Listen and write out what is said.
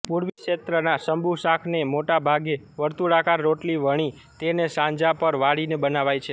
પૂર્વી ક્ષેત્રના સમ્બુસાક ન્ મોટેભાગે વર્તુળાકાર રોટલી વણી તેને સાંજા પર વાળીને બનાવાય છે